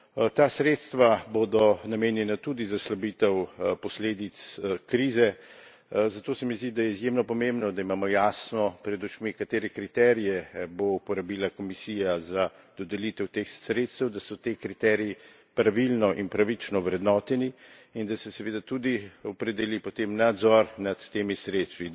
Ta sredstva bodo namenjena tudi za slabitev posledic krize, zato se mi zdi, da je izjemno pomembno, da imamo jasno pred očmi, katere kriterije bo uporabila Komisija za dodelitev teh sredstev, da so ti kriteriji pravilno in pravično vrednoteni in da se seveda tudi opredeli potem nadzor nad temi sredstvi.